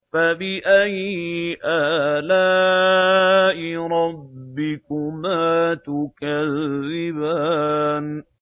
فَبِأَيِّ آلَاءِ رَبِّكُمَا تُكَذِّبَانِ